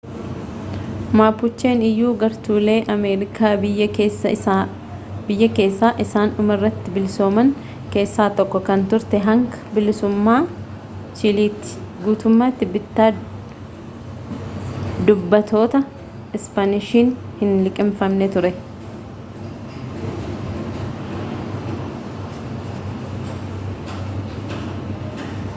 mapuchen iyyuu gartuulee amerikaa biyya keessaa isaan dhuma irratti bilisooman keessaa tokko kan turte hanga bilisummaa chiiliitti guutummatti bittaa dubbattoota-ispaanishiin hin liqinfamne ture